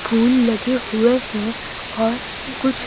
फूल लगे हुए हैं और कुछ--